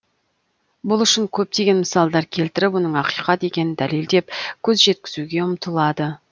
бұл үшін көптеген мысалдар келтіріп оның ақиқат екенін дәлелдеп көз жеткізуге ұмтылады